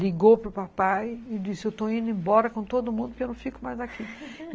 Ligou para o papai e disse, estou indo embora com todo mundo porque eu não fico mais aqui